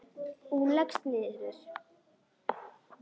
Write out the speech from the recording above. Og hún leggst niður.